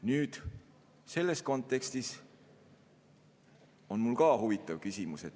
Nüüd, selles kontekstis on mul ka huvitav küsimus.